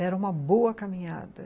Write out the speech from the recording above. Era uma boa caminhada.